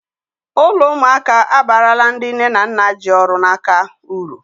Ụlọ ụmụaka abarala ndị nne na nna ji ọrụ n'aka uru